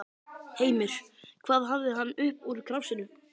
Heimir: Hvað hafði hann upp úr krafsinu?